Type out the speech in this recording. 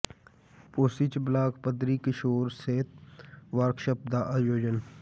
ਪੋਸੀ ਚ ਬਲਾਕ ਪੱਧਰੀ ਕਿਸ਼ੋਰ ਸਿਹਤ ਵਰਕਸ਼ਾਪ ਦਾ ਆਯੋਜਨ